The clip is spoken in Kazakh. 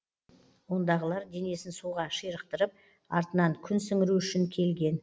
ондағылар денесін суға ширықтырып артынан күн сіңіру үшін келген